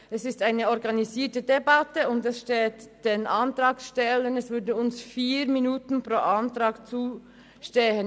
Es ist eine organisierte Debatte, und es würden uns Antragstellern 4 Minuten pro Antrag zustehen.